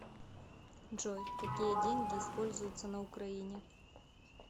джой какие деньги используются на украине